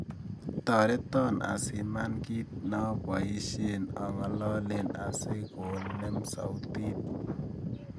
Toreton asiman kiit naboishen angololen asigonem sautit